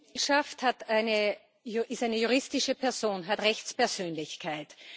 geschafft hat, ist eine juristische Person, hat Rechtspersönlichkeit.